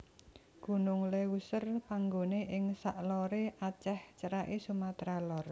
Gunung Léuser panggoné ing sak loré Aceh ceraké Sumatra Lor